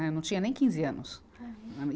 Né, eu não tinha nem quinze anos.